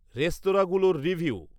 রেস্তরাঁগুলোর review